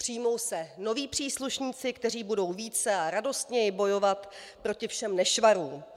Přijmou se noví příslušníci, kteří budou více a radostněji bojovat proti všem nešvarům.